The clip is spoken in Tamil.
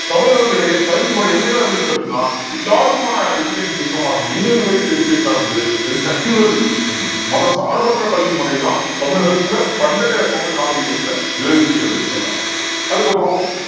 தமிழர்களிடையே கல்வி முறை எப்படிதான் இருந்துச்சு அப்படின்னா எல்லாருக்குமான education system ஆ இருந்தது education ஆ இருந்தது then secular education மதசார்பற்ற கல்வி முறைதான் தமிழகத்தில பண்டைய தமிழ் நாகரிகத்தில நிலவுச்சி அப்படின்றதை பாக்குறோம் அதுக்கப்புறம்